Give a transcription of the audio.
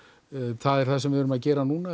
það er það sem við erum að gera núna